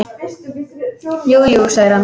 Jú, jú, segir hann.